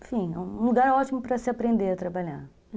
Enfim, é um lugar ótimo para se aprender a trabalhar.